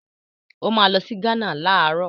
Ó máa lọ sí Gánà láàárọ̀.